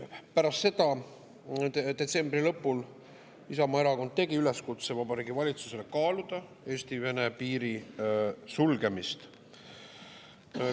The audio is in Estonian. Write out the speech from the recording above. Pärast seda, detsembri lõpul Isamaa Erakond tegi üleskutse Vabariigi Valitsusele kaaluda Eesti-Vene piiri sulgemist.